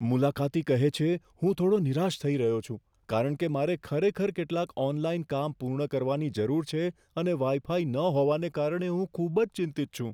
મુલાકાતી કહે છે, "હું થોડો નિરાશ થઈ રહ્યો છું કારણ કે મારે ખરેખર કેટલાક ઓનલાઈન કામ પૂર્ણ કરવાની જરૂર છે અને વાઈ ફાઈ ન હોવાને કારણે હું ખૂબ જ ચિંતિત છું".